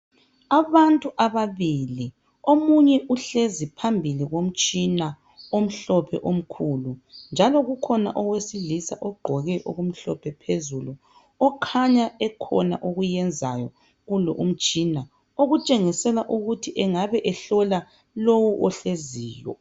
Abantu ababili, omunye uhlezi phambili komtshina omhlophe omkhulu njalo kukhona owesilisa ogqoke okumhlophe phezulu okhanya ekhona okuyenzayo kulo umtshina okutshengisela ukuthi angabe ehola lo ohleziyo.